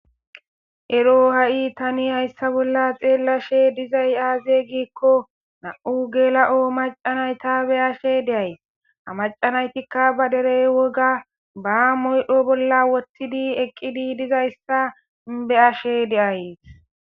ero ha7i tani hayssa bolla xeellashe dizay aazey gikko na7u geela7o macanay ta be ashe deay a macanaytikka ba derey woga ba moydho bolla wottidi eqqidi dizayssa beashe deayes